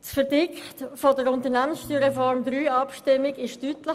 Das Verdikt der Abstimmung über die USR III war deutlich.